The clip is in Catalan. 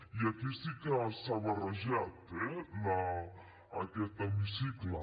i aquí sí que s’ha barrejat eh aquest hemicicle